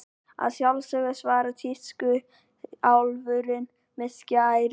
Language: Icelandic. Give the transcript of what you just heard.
Að sjálfsögðu, svaraði tískuálfurinn með skærin.